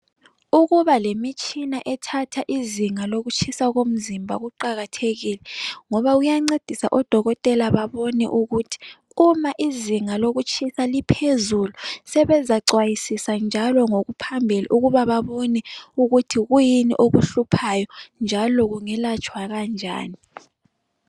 Ukuba lemitshina ethatha izinga lokutshisa komzimba kuqakathekile ngoba kuyancedisa odokotela babone ukuthi uma izinga lokutshisa liphezulu sebezacwayisisa njalo ngokuphambili ukuba babone ukuthi kuyini okuhluphayo njalo kungelatshwa kanjani.